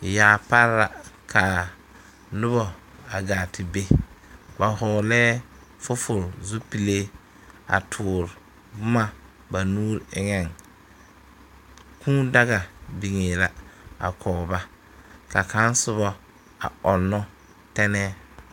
Yaa pare la ka noba gaa te be ba vɔglɛɛ fofo zupile a tɔɔre boma ba nuuri eŋeŋ kuu daga biŋe la kɔg ba ka kaŋ soba ɔŋnɔ tɛnɛɛ.